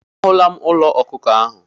A hụla m ụlọ ọkụkọ ahụ.